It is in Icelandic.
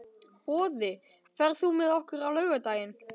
Boði, ferð þú með okkur á laugardaginn?